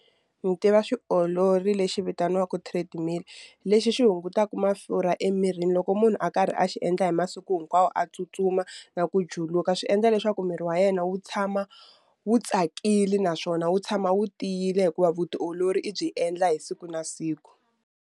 Ni tiva xiolori lexi vitaniwaku trademill lexi xi hungutaku mafurha emirini loko munhu a karhi a xi endla hi masiku hinkwawo a tsutsuma na ku juluka swi endla leswaku miri wa yena wu tshama wu tsakili naswona wu tshama wu tiyile hikuva vutiolori i byi endla hi siku na siku.